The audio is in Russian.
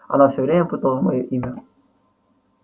она всё время путала моё имя